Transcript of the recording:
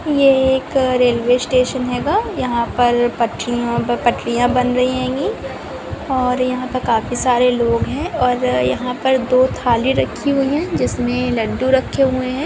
ये एक railway station हेगा यहाँ पर पटरी पटरियाँ बन रही हेंगी और यहाँ पर काफी सारे लोग है और अ-यहा पर दो थाली रखी हुई है जिसमे लड्डू रखे हुए है।